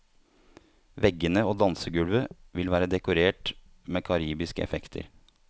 Veggene og dansegulvet vil være dekorert med karibiske effekter.